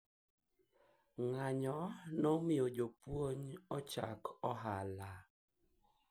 mgomo ulifanya walimu waanze biashara